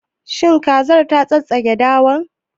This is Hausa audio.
Shin kazar ta tsattsagi dawar?